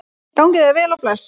Gangi þér vel og bless.